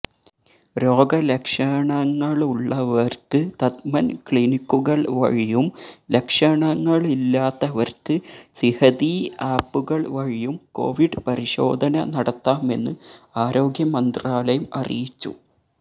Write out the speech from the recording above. രോഗലക്ഷണങ്ങളുള്ളവര്ക്ക് തഥ്മന് ക്ലിനിക്കുകള് വഴിയും ലക്ഷണങ്ങളില്ലാത്തവര്ക്ക് സിഹതീ ആപുകള് വഴിയും കോവിഡ് പരിശോധന നടത്താമെന്ന് ആരോഗ്യമന്ത്രാലയം അറിയിച്ചു